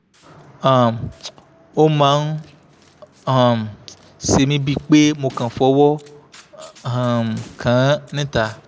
um ó máa ń um ṣe mí bíi pé mo kàn fọwọ́ um kàn án níta